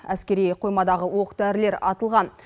әскери қоймадағы оқ дәрілер атылған